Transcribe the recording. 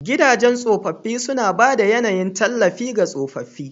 Gidajen tsofaffi suna ba da yAnayin tallafi ga tsofaffi.